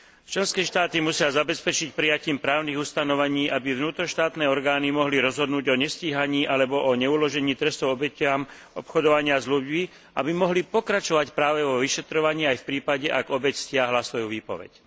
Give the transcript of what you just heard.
Členské štáty musia zabezpečiť prijatím právnych ustanovení, aby vnútroštátne orgány mohli rozhodnúť o nestíhaní alebo o neuložení trestu obetiam obchodovania s ľuďmi, aby mohli pokračovať práve vo vyšetrovaní aj v prípade, ak obeť stiahla svoju výpoveď.